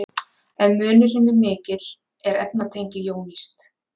Ef munurinn er mikill er efnatengið jónískt.